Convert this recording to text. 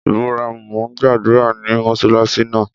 Ìbùràímù n gbàdúrà ní mọṣáláṣí náà.